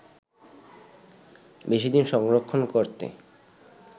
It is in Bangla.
বেশি দিন সংরক্ষণ করতে